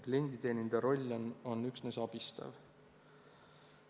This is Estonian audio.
Klienditeenindaja roll on üksnes abistav.